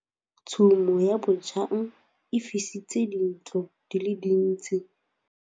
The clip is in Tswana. Tshumô ya bojang e fisitse dintlo di le dintsi.